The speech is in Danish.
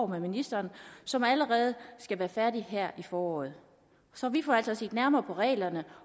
med ministeren som allerede skal være færdigt her i foråret så vi får altså set nærmere på reglerne